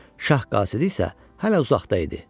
Şah qasidi isə hələ uzaqda idi.